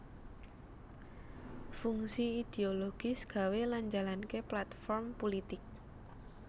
Fungsi idiologis gawé lan njalanké platform pulitik